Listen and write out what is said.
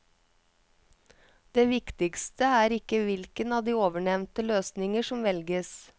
Det viktigste er ikke hvilken av de ovennevnte løsninger som velges.